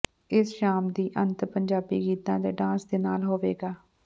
ਇਸ ਸ਼ਾਮ ਦਾ ਅੰਤ ਪੰਜਾਬੀ ਗੀਤਾਂ ਅਤੇ ਡਾਂਸ ਦੇ ਨਾਲ ਹੋਵੇਗਾ